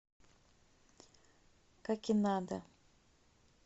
какинада